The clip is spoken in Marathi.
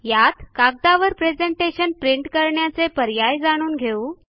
यात कागदावर प्रेझेंटेशन प्रिंट करण्याचे पर्याय जाणून घेऊ